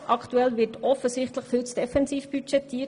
Aktuell wird offensichtlich viel zu defensiv budgetiert.